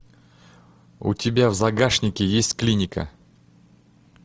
у тебя в загашнике есть клиника